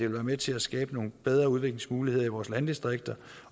være med til at skabe nogle bedre udviklingsmuligheder i vores landdistrikter